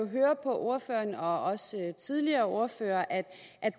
høre på ordføreren og også tidligere ordførere at